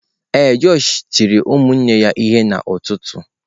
Ee, josh tiri ụmụnne ya ihe n’ụtụtụ.